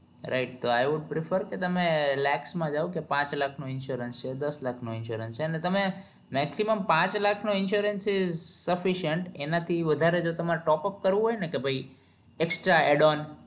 Rigth તો કે તમે લેક્સ માં જાઓ તો પાંચ લાખ નો insurance છે દસ લાખનો insurance છે ને તમે maximum પાંચ લાખ નો insurance sufficient એના થી વધારે જો તમાર top અપ કરવો હોય ને કે ભાઈ extra adult